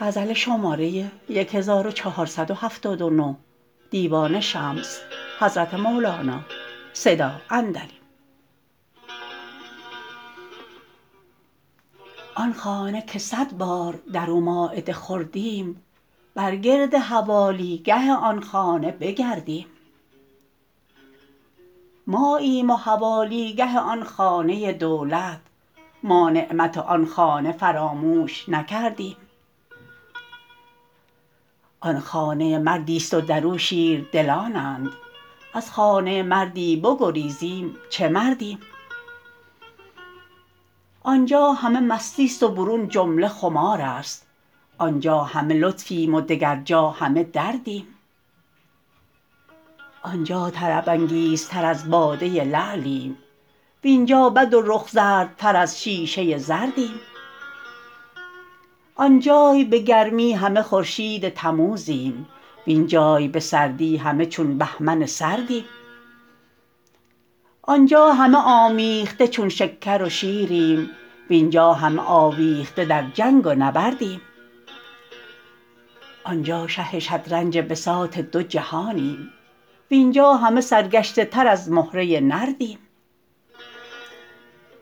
آن خانه که صد بار در او مایده خوردیم بر گرد حوالی گه آن خانه بگردیم ماییم و حوالی گه آن خانه دولت ما نعمت آن خانه فراموش نکردیم آن خانه مردی است و در او شیردلانند از خانه مردی بگریزیم چه مردیم آنجا همه مستی ست و برون جمله خمار است آنجا همه لطفیم و دگرجا همه دردیم آنجا طرب انگیزتر از باده لعلیم وین جا بد و رخ زردتر از شیشه زردیم آن جای به گرمی همه خورشید تموزیم وین جای به سردی همه چون بهمن سردیم آنجا همه آمیخته چون شکر و شیریم وین جا همه آویخته در جنگ و نبردیم آنجا شه شطرنج بساط دو جهانیم وین جا همه سرگشته تر از مهره نردیم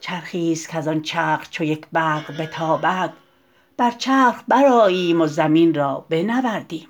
چرخی است کز آن چرخ چو یک برق بتابد بر چرخ برآییم و زمین را بنوردیم